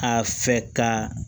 A fɛ ka